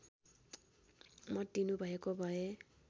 मत दिनुभएको भए